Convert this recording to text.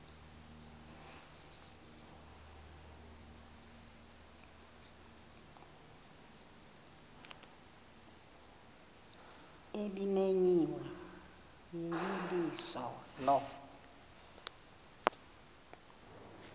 ebimenyiwe yeyeliso lo